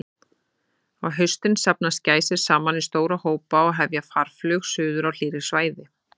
Á haustin safnast gæsir saman í stóra hópa og hefja farflug suður á hlýrri svæði.